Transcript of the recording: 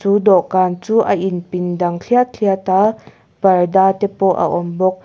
chu dawhkan chu a inpin dang thliat thliat a parda te pawh a awm bawk.